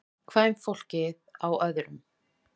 Kvenfólkið á öðrum.